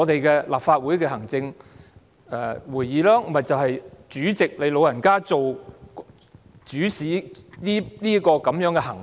是立法會行政管理委員會，亦即說，是主席你"老人家"主使這種行為。